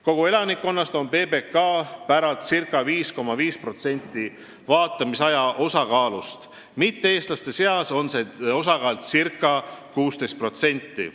Kogu elanikkonna puhul on PBK päralt ca 5,5% vaatamisaja osakaalust, mitte-eestlaste seas on see ca 16%.